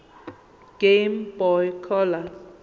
game boy color